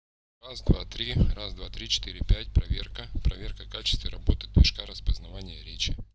раз два три раз два три четыре пять проверка проверка качества работы точка распознавания речи